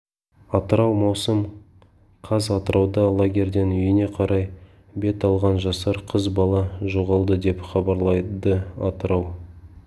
атырау маусым қаз атырауда лагерден үйіне қарай бет алған жасар қыз бала жоғалды деп хабарлады атырау